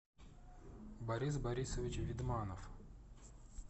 борис борисович видманов